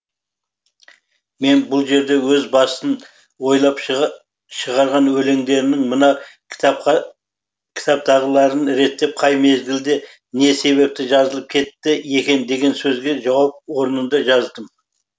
мен бұл жерде өз басын ойлап шығарған өлендерінің мына кітаптағыларын реттеп қай мезгілде не себепті жазылып кетті екен деген сөзге жауап орнында жаздым